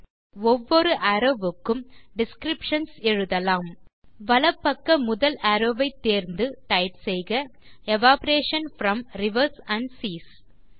இப்போது ஒவ்வொரு அரோவ் வுக்கும் டிஸ்கிரிப்ஷன்ஸ் எழுதலாம் வலப்பக்க முதல் அரோவ் வை தேர்ந்து டைப் செய்க evaporation from rivers and cheese